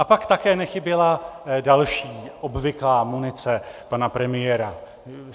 A pak také nechyběla další obvyklá munice pana premiéra.